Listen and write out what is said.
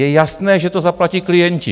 Je jasné, že to zaplatí klienti.